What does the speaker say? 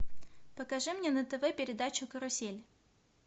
покажи мне на тв передачу карусель